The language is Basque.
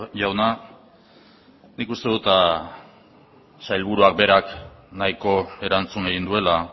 jauna nik uste dut sailburuak berak nahiko erantzun egin duela